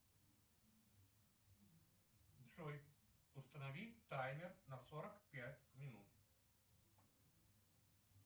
джой установи таймер на сорок пять минут